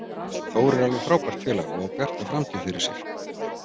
Þór er alveg frábært félag og á bjarta framtíð fyrir sér.